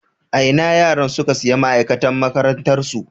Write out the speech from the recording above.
A ina yaran suka sayi ma'aikatan makarantarsu